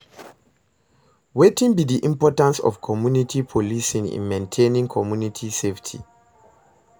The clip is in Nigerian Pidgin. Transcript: Wetin be di importance of community policing in maintaining community safety?